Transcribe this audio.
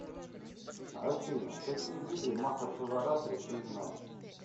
афина какие виды махашиваратри ты знаешь